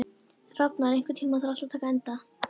Rafnar, einhvern tímann þarf allt að taka enda.